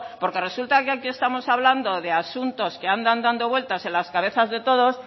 porque resulta que aquí estamos hablando de asuntos que andan dando vueltas en las cabezas de todos